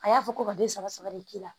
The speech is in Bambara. A y'a fɔ ko ka den saba saba de k'i la